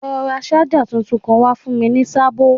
Lọ ra ṣájà tuntun wá fún mi ní sábó